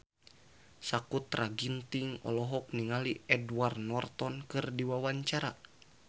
Sakutra Ginting olohok ningali Edward Norton keur diwawancara